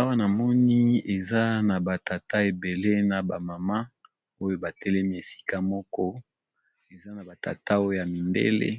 awa na moni eza na batata ebele na bamama oyo batelemi esika moko eza na batata oo ya mibele